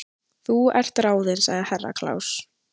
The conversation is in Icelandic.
Þú ert ráðin sagði Herra Kláus.